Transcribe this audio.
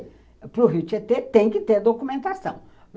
Para o Rio Tietê tem que ter documentação.